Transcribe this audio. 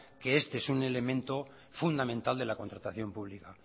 que este es un elemento fundamental de la contratación pública